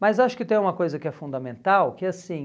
Mas acho que tem uma coisa que é fundamental, que é assim...